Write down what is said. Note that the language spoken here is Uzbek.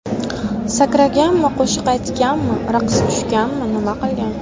Sakraganmi, qo‘shiq aytganmi, raqs tushganmi nima qilgan?